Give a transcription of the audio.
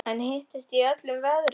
En hittist þið í öllum veðrum?